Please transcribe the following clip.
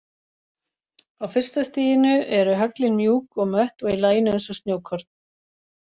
Á fyrsta stiginu eru höglin mjúk og mött og í laginu eins og snjókorn.